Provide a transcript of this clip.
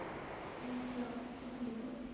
অনেকটা update হতো।